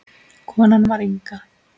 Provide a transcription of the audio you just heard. Konan var Inga.